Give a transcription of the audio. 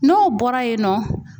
N'o bɔra yen nɔ